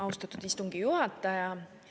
Austatud istungi juhataja!